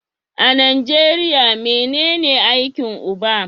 A Nijeriya menen aikin uba?